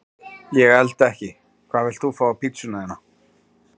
Ég elda ekki Hvað vilt þú fá á pizzuna þína?